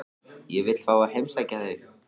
Ég vil fá að heimsækja þig.